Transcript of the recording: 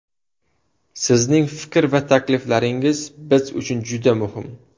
Sizning fikr va takliflaringiz biz uchun juda muhim!